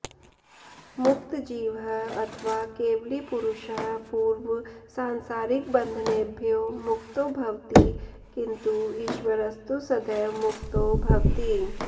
मुक्तजीवः अथवा केवली पुरुषः पूर्वसांसारिकबन्धनेभ्यो मुक्तो भवति किन्तु ईश्वरस्तु सदैव मुक्तो भवति